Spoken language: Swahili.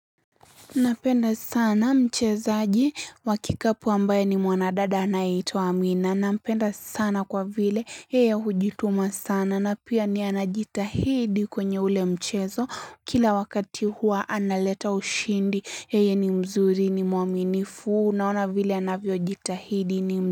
Napenda sana mchezaji wa kikapu ambaye ni mwanadada anayeitwa mwina Nampenda sana kwa vile, yeye hujituma sana na pia ni yeye anajitahidi kwenye ule mchezo. Kila wakati hua analeta ushindi, yeye ni mzuri ni muaminifu unaona vile anavyo jitahidi ni m.